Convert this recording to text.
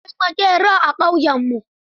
Akwai maƙeri a ƙauyenmu.